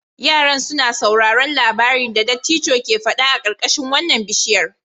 Yaran suna sauraron labarin da dattijon ke fada a karkashin wannan bishiyar.